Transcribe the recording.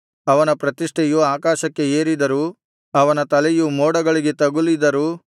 ಅವನ ಪ್ರತಿಷ್ಠೆಯು ಆಕಾಶಕ್ಕೆ ಏರಿದರೂ ಅವನ ತಲೆಯು ಮೋಡಗಳಿಗೆ ತಗುಲಿದರೂ